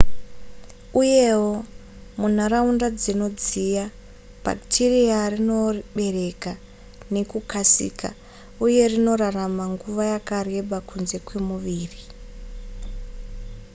uyewo munharaunda dzinodziya bhakitiriya rinobereka nekukasika uye rinorarama nguva yakareba kunze kwemuviri